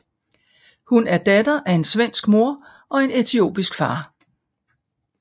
Hun er datter af en svensk mor og en etiopisk far